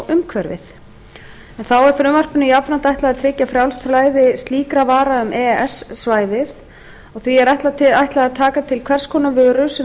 umhverfið þá er frumvarpinu ætlað að tryggja frjálst flæði slíkra vara um e e s svæðið því er ætlað að taka til hvers konar vöru sem